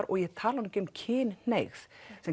og ég tala nú ekki um kynhneigð